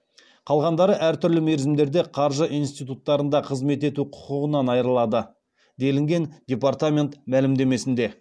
қалғандары әртүрлі мерзімдермен қаржы институттарында қызмет ету құқығынан айырылады делінген департамент мәлімдемесінде